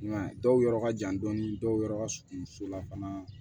I m'a ye dɔw yɔrɔ ka jan dɔɔni dɔw yɔrɔ ka surun so la fana